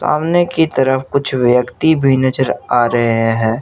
सामने की तरफ कुछ व्यक्ति भी नजर आ रहे हैं।